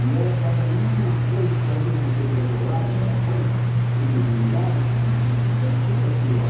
E ela faz a mesma coisa que fazia antes, aquele rebolado, aquela coisa, aquele gingado, aquela mulher, uma loucura aquilo lá.